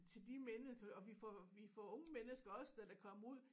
Til de mennesker og vi får vi får unge mennesker også der der kommer ud